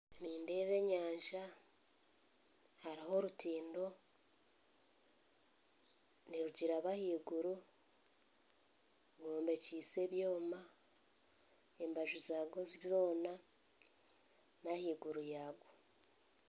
Nindeeba enyanja hariho orutindo nirugiraba ahaiguru bombekyeise ebyoma embaju zaarwo zoona n'ahaiguru yaarwo.